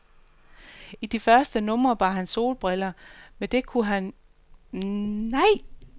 I de første numre bar han solbriller, men det kunne han jo ikke, alt taget i betragtning, blive ved med.